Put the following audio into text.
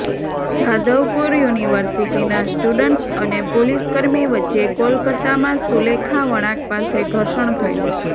જાધવપુર યુનિવર્સિટીના સ્ટુડન્ટ્સ અને પોલીસકર્મી વચ્ચે કોલકાત્તામાં સુલેખા વળાંક પાસે ઘર્ષણ થયું